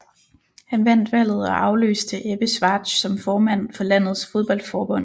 Han vandt valget og afløste Ebbe Schwartz som formand for landets fodboldforbund